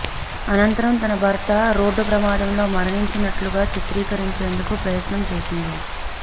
అనంతరం తన భర్త రోడ్డు ప్రమాదంలో మరణించినట్లుగా చిత్రీకరించేందుకు ప్రయత్నం చేసింది